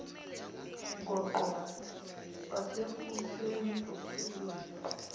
ngoqo wasekuseni othulwe